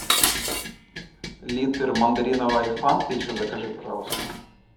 литр мандариновой фанты еще закажи пожалуйста